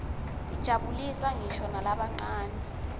tijabulisa nqisho nalabancane